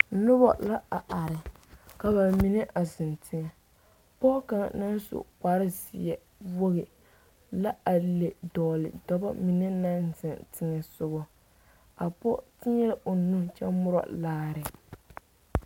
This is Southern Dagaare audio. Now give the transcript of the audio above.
Noba la a are ka ba mine a zeŋ teŋɛ pɔge kaŋa naŋ su kparezeɛ wogi la a le dɔgle dɔba mine naŋ zeŋ teŋɛsogɔ a pɔge teɛŋ o nuuri kyɛ morɔ laare.